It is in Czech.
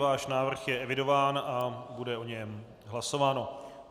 Váš návrh je evidován a bude o něm hlasováno.